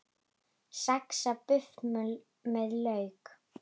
Saxað buff með lauk